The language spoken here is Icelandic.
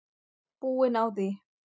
Búin á því.